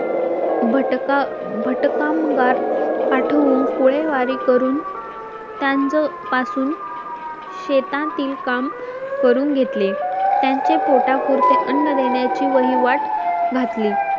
भटका भट कामगार पाठवून कुळेवारी करू त्यांज पासून शेतातील काम करून घेतले त्यांचे पोटा पुरते अन्न देण्याची वहिवाट घातली